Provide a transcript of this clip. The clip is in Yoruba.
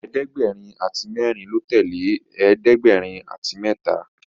ẹ̀ẹ́dẹ̀gbẹ̀rin àti mérin ló tèlé ẹ̀ẹ́dẹ̀gbẹ̀rin àti méta.